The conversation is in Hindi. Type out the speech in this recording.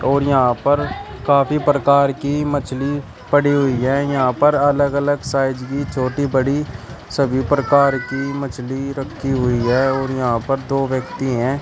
और यहां पर काफी प्रकार की मछली पड़ी हुई है यहां पर अलग अलग साइज की छोटी बड़ी सभी प्रकार की मछली रखी हुई है और यहां पर दो व्यक्ति हैं।